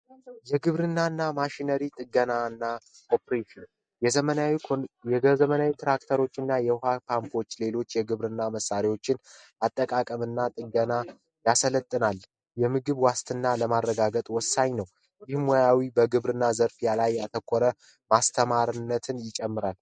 የግብርና እና ማሽነሪ ጥገና ኦፕሬሽን ትራክተሮችን የውሃ ፓንኮችን እንዲሁም ሌሎች የእርሻ መሳሪያዎችን አጠቃቀም እና ጥገና ያሰለጥናል የምግብ ዋስትናን ለማረጋገጥ ወሳኝ እና የግብርና ሙያ ላይ ያተኮረ አስተማሪነትን ይጨምራል።